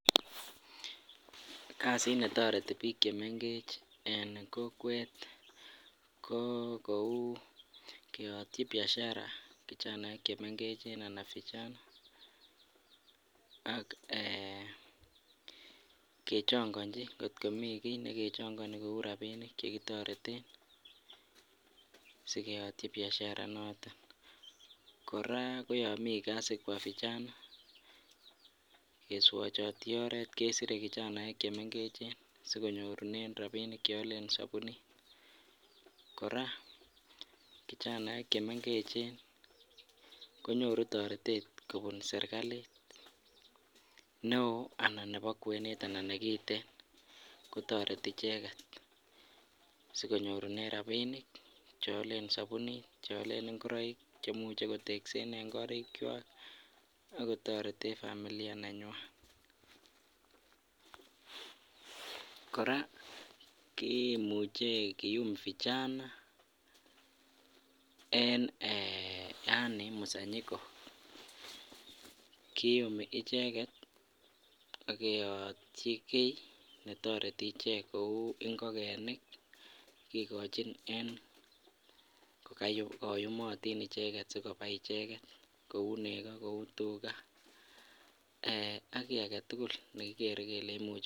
Kasit netoreti biik chemeng'ech en kokwet ko kou keyotyi biashara kijanaek chemeng'echen anan vijana ak eeh ng'ot komii kii kou rabinik chekichong'onjin chekitoreten sikeyotyi biashara inoton, kora ko yoon mii kasi kwa vijana keswachoti oreet kesire kijanaek chemeng'echen sikonyorunen rabinik cheolen sobunit, kora kijanaek chemeng'echen konyoru toretet kobun serikalit neoo anan nebo kwenet anan nekiten kotoreti icheket sikonyorunen rabinik cheolen sobunit cheolen ing'oroik cheimuche koteksen en korikwak ak kotoreten familia nenywan, kora kimuche kium vijana en eeh yoon msanyiko kiumi icheket ak keyotyi kii netoreti ichek kouu ing'okenik kikochin en koyumotin icheket sikobai icheket Kou nekoo kouu tukaa ak kii aketukul nekikere kelee imuche.